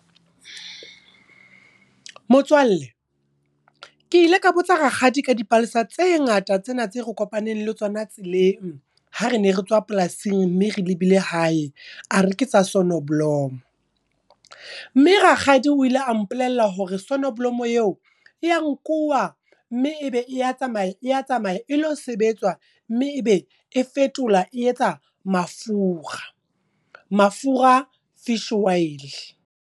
Motswalle, ke ile ka botsa rakgadi ka dipalesa tse ngata tsena tse re kopaneng le tsona tseleng. Ha re ne re tswa polasing mme re lebile hae, a re ketsa Sonneblom. Mme rakgadi o ile a mpolella hore Sonneblom eo, ya nkuwa mme ebe e ya tsamaya, e ya tsamaya e lo sebetswa. Mme ebe e fetolwa e etsa mafura, mafura fish oil.